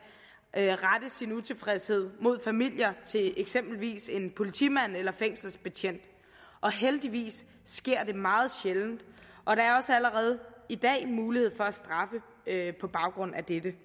at rette sin utilfredshed mod familier til eksempelvis en politimand eller fængselsbetjent og heldigvis sker det meget sjældent og der er også allerede i dag mulighed for at straffe på baggrund af dette